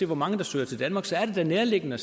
hvor mange der søger til danmark så er det da nærliggende